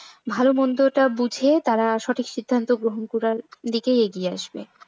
ভালো মন্দ টা বুঝে তারা সঠিক সিদ্ধান্ত গুলার দিকেই এগিয়ে আসবে।